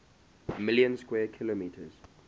million square kilometers